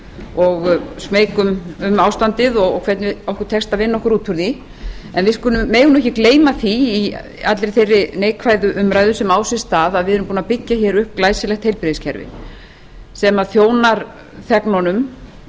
og smeyk við ástandið og hvernig okkur tekst að vinna okkur út úr því en við megum ekki gleyma því í allri þeirri neikvæðu umræðu sem á sér stað að við erum búin að byggja hér upp glæsilegt heilbrigðiskerfi sem þjónar þegnunum